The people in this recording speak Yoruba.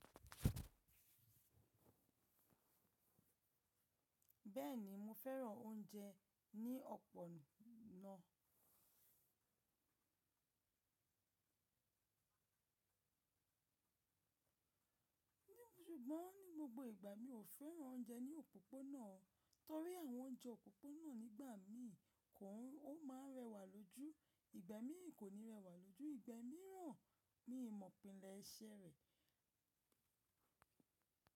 Bẹ́ẹ̀ni, mo fẹ́ràn oúnjẹ ní ọ̀pọ̀ ná. Sùgbọ́n ní gbogbo ìgbà, mi ò fẹ́ràn oúnjẹ ní òpópónà torí àwọn oúnjẹ òpópónà nígbà mi ò máa rẹwà lójú. Ìgbà mi kò ní rẹwà lójú. Ìgbà míràn mi mọ̀ pínlẹ̀ iṣẹ́ rẹ̀.